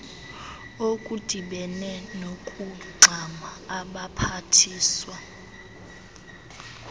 okudibene nokungxama abaphathiswa